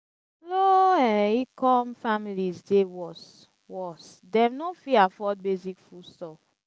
low-income families dey worst; worst; dem no fit afford basic foodstuffs.